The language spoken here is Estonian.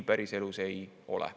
Päriselus nii ei ole.